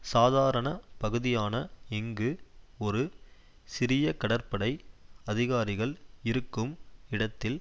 சாதாரண பகுதியான இங்கு ஒரு சிறிய கடற்படை அதிகாரிகள் இருக்கும் இடத்தில்